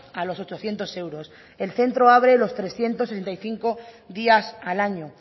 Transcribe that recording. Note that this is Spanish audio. a los ochocientos euros el centro abre los trescientos sesenta y cinco días al año